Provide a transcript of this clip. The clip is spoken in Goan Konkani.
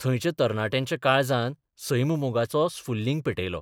थंयच्या तरणाट्यांच्या काळजांत सैममोगाचो स्फुल्लिंग पेटयलो.